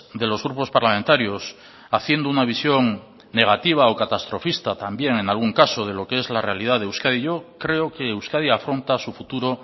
de los grupos parlamentarios haciendo una visión negativa o catastrofista también en algún caso de lo qué es la realidad de euskadi yo creo que euskadi afronta su futuro